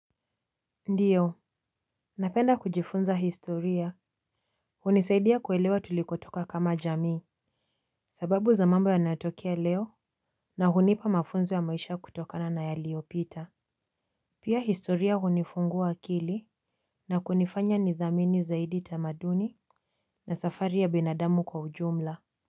Ndiyo, napenda kujifunza historia. Hunisaidia kuelewa tulikotoka kama jamii. Sababu za mambo yanayotokea leo na hunipa mafunzo ya maisha kutokana na yaliyopita. Pia historia hunifungua akili. Na kunifanya nithamini zaidi tamaduni na safari ya binadamu kwa ujumla.